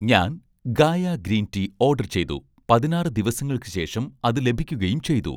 ഞാൻ 'Gaia' green tea order ചെയ്തു, പതിനാറ് ദിവസങ്ങൾക്ക് ശേഷം അത് ലഭിക്കുകയും ചെയ്തു.